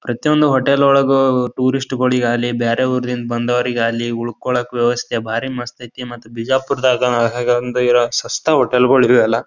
ಪ್ರತಿಯೊಂದು ಹೋಟೆಲ್ ಒಳಗೊ ಒ ಟೂರಿಸ್ಟ್ ಳಿಗಾಲಿ ಬ್ಯಾರೆ ಊರಿಂದ ಬಂದೋರಿಗಾಲಿ ಉಳಿಕೊಳ್ಳೋಕೆ ವ್ಯವಸ್ಥೆ ಬಾರಿ ಮಸ್ತ್ ಐತಿ ಮತ್ ಬಿಜಾಪುರದಾಗ ಒಳಗ್ ಹಾಗಾ ಒಂದ್ ಸಸ್ತಾ ಹೋಟೆಲ್ಗಳು ಇವೆಯಲ್ಲ.